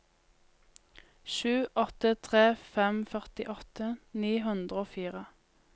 sju åtte tre fem førtiåtte ni hundre og fire